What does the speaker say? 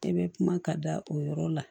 Ne bɛ kuma ka da o yɔrɔ la